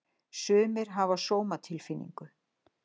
Sumir hafa sómatilfinningu.